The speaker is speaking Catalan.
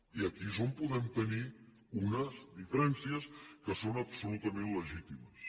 i aquí és on podem tenir unes diferències que són absolutament legítimes